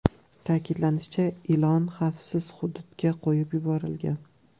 Ta’kidlanishicha, ilon xavfsiz hududga qo‘yib yuborilgan.